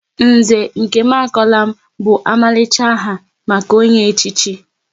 Nze Nkemakonam bụ omalicha aha maka onye echichi